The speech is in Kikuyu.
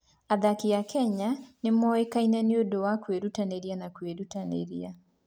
Athaki a Kenya nĩ moĩkaine nĩ ũndũ wa kwĩrutanĩria na kwĩrutanĩria.